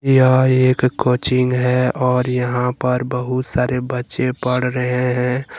यह एक कोचिंग है और यहां पर बहुत सारे बच्चे पढ़ रहे हैं।